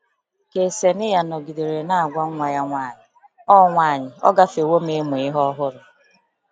Kseniya nọgidere na-agwa nwa ya nwanyị, “Ọ nwanyị, “Ọ gafewo m ịmụ ihe ọhụrụ.”